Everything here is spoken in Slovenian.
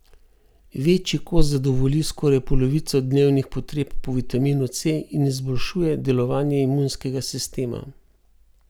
Večji kos zadovolji skoraj polovico dnevnih potreb po vitaminu C in izboljšuje delovanje imunskega sistema.